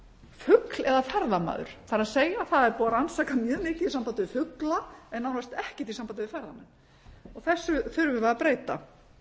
fugl eða ferðamaður það er það er búið að rannsaka mjög mikið í sambandi við fugla en nánast ekkert í sambandi við ferðamenn þessu þurfum við að breyta